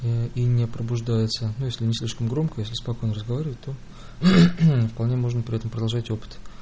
и не пробуждается ну если не слишком громко если спокойно разговаривать то вполне можно при этом продолжать опыт